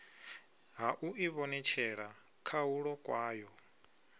ha u ivhonetshela khahulo kwayo